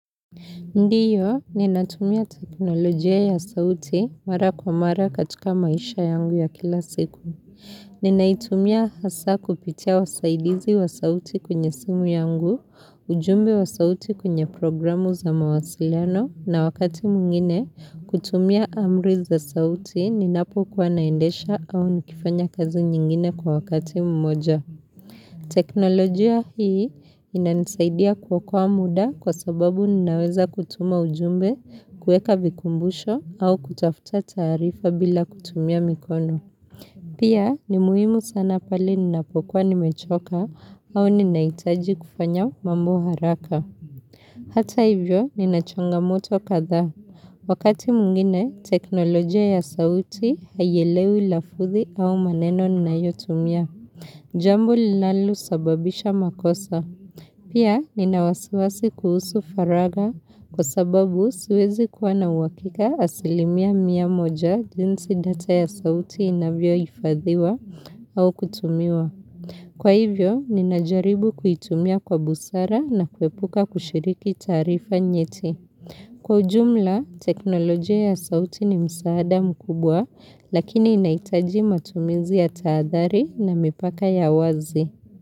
Ndiyo ninatumia teknolojia ya sauti mara kwa mara katika maisha yangu ya kila siku. Ninaitumia hasa kupitia wasaidizi wa sauti kwenye simu yangu, ujumbe wa sauti kwenye programu za mawasiliano na wakati mwingine kutumia amri za sauti ninapokuwa naendesha au nikifanya kazi nyingine kwa wakati mmoja. Teknolojia hii, inanisaidia kwa kwa muda kwa sababu ninaweza kutuma ujumbe kueka vikumbusho au kutafuta tarifa bila kutumia mikono. Pia, ni muhimu sana pale ninapokwa nimechoka au ninaitaji kufanya mambo haraka. Hata hivyo ninachangamoto kadhaa. Wakati mwngine, teknolojia ya sauti haielewi lafuthi au maneno ninayotumia. Jambo linalosababisha makosa. Pia nina waswasi kuhusu faragha kwa sababu siwezi kuwa na uhakika asilimia mia moja jinsi data ya sauti inavyohifadhiwa au kutumiwa. Kwa hivyo, ninajaribu kuitumia kwa busara na kuepuka kushiriki tarifa nyeti. Kwa ujumla, teknolojia ya sauti ni msaada mkubwa, lakini inaitaji matumizi ya tahadhari na mipaka ya wazi.